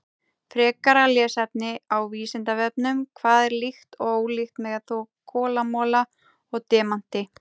Frekara lesefni á Vísindavefnum: Hvað er líkt og ólíkt með kolamola og demanti?